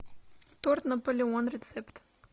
торт наполеон рецепт